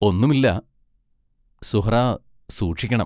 ഒന്നുമില്ല; സുഹ്റാ സൂക്ഷിക്കണം.